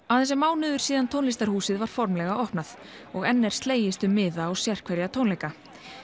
aðeins er mánuður síðan tónlistarhúsið var formlega opnað og enn er slegist um miða á sérhverja tónleika